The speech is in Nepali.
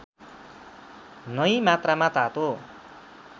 नै मात्रामा तातो